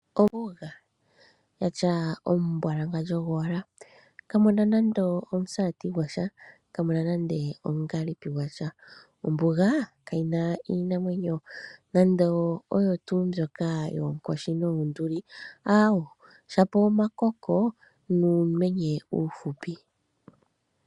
Ombuga, ya tya omumbwalanga gowala. Kamu na nando omusati gwasha, kamu na nande omungaalipi gwasha. Ombuga kayi na iinamwenyo, nando oyo tuu mbyoka yoonkoshi noonduli aawo. Shapo omakoko nuumenye uufupi.